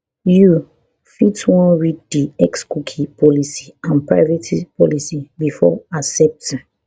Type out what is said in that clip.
you fit wan read di xcookie policy and privacy policy before accepting